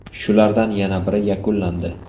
Shulardan yana biri yakunlandi.